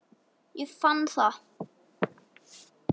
Ég fann það.